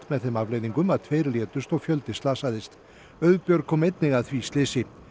með þeim afleiðingum að tveir létust og fjöldi slasaðist Auðbjörg kom einnig að því slysi